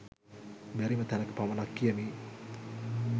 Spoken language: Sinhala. බැරිම තැනක පමණක් කියමි